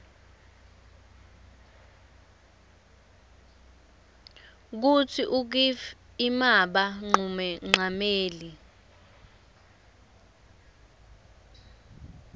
kutsi ukif imaba nqumonqameli